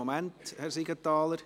Moment, Herr Siegenthaler.